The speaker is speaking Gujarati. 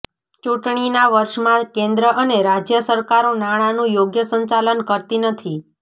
ચૂંટણીના વર્ષમાં કેન્દ્ર અને રાજ્ય સરકારો નાણાંનું યોગ્ય સંચાલન કરતી નથી